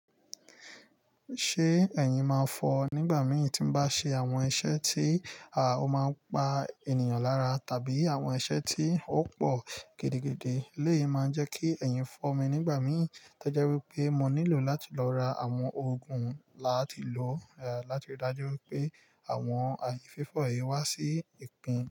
Ṣé ẹ̀yin máa n fọ ọ? Nígbà mí tí mo bá ṣe àwọn iṣẹ́ tí ah o máa ń pa ènìyàn lára tàbí àwọn iṣẹ́ tí ó pọ̀ gidigidi eleyi máa n jẹ́ kí ẹ̀yin fọ́ mi nígbà mí. Tẹ́já wípé mo nílò láti lọ ra àwọn oògùn láti lò láti dájú pé àwọn àìfífọ̀ yìí wá sí ìkùn.